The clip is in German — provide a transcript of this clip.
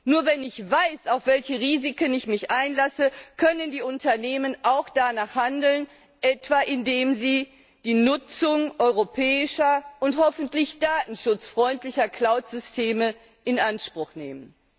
Nur wenn ich weiß, auf welche Risiken ich mich einlasse, können die Unternehmen auch danach handeln, etwa indem sie die Nutzung europäischer und hoffentlich datenschutzfreundlicher Cloud Systeme in Anspruch nehmen.